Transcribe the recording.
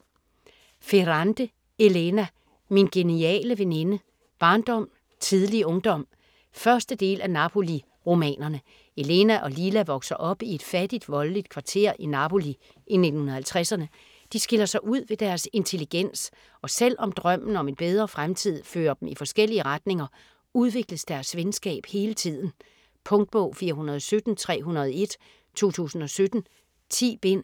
Ferrante, Elena: Min geniale veninde: barndom, tidlig ungdom 1. del af Napoli-romanerne. Elena og Lila vokser op i et fattigt voldeligt kvarter i Napoli i 1950'erne. De skiller sig ud ved deres intelligens, og selv om drømmen om en bedre fremtid fører dem i forskellige retninger, udvikles deres venskab hele tiden. Punktbog 417301 2017. 10 bind.